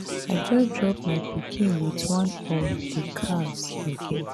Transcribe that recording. i just drop my pikin with one of the cars i get.